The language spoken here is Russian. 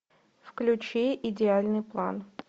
включи идеальный план